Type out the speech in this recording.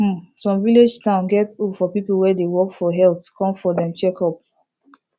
hmm some village town get hope for people wey dey work for health come for dem checkup